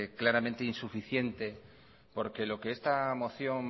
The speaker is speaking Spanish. claramente insuficiente porque lo que esta moción